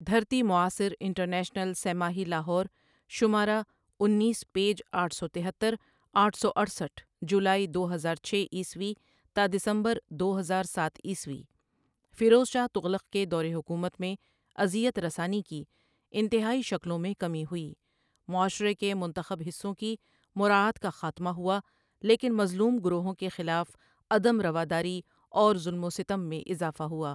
دھرتی معاصر international سہ ماہی لاہور شمارہ انیس پیج اٹھ سو تہتر اٹھ سو اٹھسٹھ جولائ دو ہزار چھ عیسوی تا دسمبر دو ہزار ساتھ عیسوی فیروز شاہ تغلق کے دورِ حکومت میں اذیت رسانی کی انتہائی شکلوں میں کمی ہوئی، معاشرے کے منتخب حصوں کی مراعات کا خاتمہ ہوا لیکن مظلوم گروہوں کے خلاف عدم روداری اور ظلم و ستم میں اضافہ ہوا۔